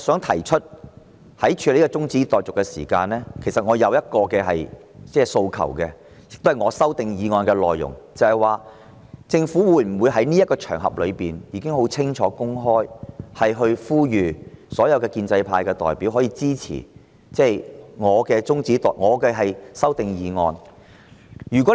我想說清楚，在處理今天這項中止待續議案時，其實我有個訴求，這關乎我提出的修訂議案的內容，就是政府可否在這個場合，清楚公開地呼籲所有建制派代表支持我的修訂議案？